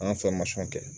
An ka kɛ